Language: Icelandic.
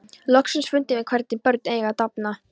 Loksins fundum við hvernig börn eiga að dafna.